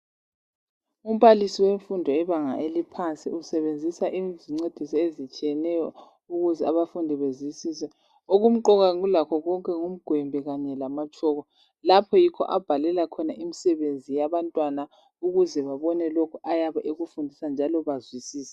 Umbalisi wemfundo yebanga eliphansi usebenzisa izincediso ezitshiyeneyo ukuze abafundi bezwisise okumqoka kulakho konke ngumgwembe kanye lamatshoko lapha yikho abhalela khona imisebenzi yabantwana ukuze babone lokhu ayabe ekufundisa njalo bazwisise.